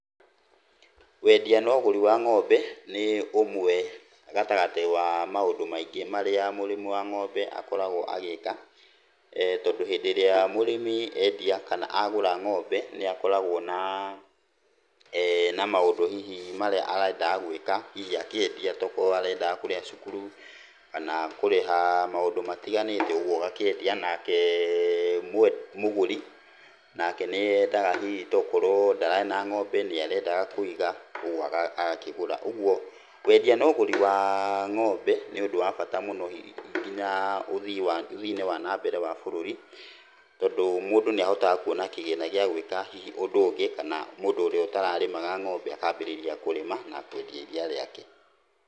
Wendia na ũgũri wa ng'ombe, nĩ ũmwe gatagatĩ wa maũndũ maingĩ marĩa mũrĩmi wa ng'ombe akoragwo agĩka. Tondũ hĩndĩ ĩrĩa mũrĩmi endia kana agũra ng'ombe, nĩakoragwo na na maũndũ hihi marĩa arendaga gwĩka, hihi akĩendia, tokorwo arendaga kũrĩha cukuru, kana kũrĩha maũndũ matiganĩte ũguo agakĩendia. Nake mũgũri nake nĩendaga hihi tokorwo ndararĩ na ng'ombe nĩarendaga kũiga, ũguo agakĩgũra. Ũguo wendia na ũgũri wa ng'ombe, nĩ ũndũ wa bata mũno hihi nginya ũthii-inĩ wa nambere wa bũrũri, tondũ mũndũ nĩahotaga kuona kĩgĩna gĩa gwĩka hihi ũndũ ũngĩ, kana mũndũ ũrĩa ũtararĩmaga ng'ombe akambĩrĩria kũrĩma, na kwendia iria rĩake.